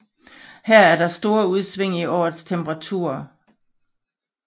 Her er der store udsving i årets temperaturer